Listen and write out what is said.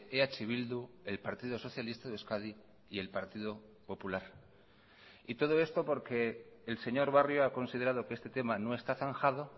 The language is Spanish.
eh bildu el partido socialista de euskadi y el partido popular y todo esto porque el señor barrio ha considerado que este tema no está zanjado